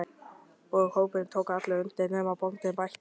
Og hópurinn tók allur undir: nema bóndinn bætti.